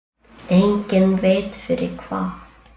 Enginn veit fyrir hvað.